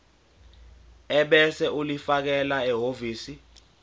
ebese ulifakela ehhovisi